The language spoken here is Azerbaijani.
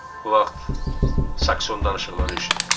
Bu vaxt Saksfon danışıqları eşitdim.